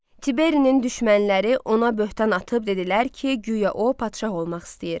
Tiberinin düşmənləri ona böhtan atıb dedilər ki, güya o padşah olmaq istəyir.